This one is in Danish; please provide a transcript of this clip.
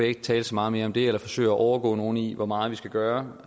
ikke tale så meget mere om det eller forsøge at overgå nogen i hvor meget vi skal gøre